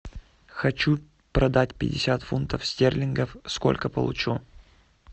хочу продать пятьдесят фунтов стерлингов сколько получу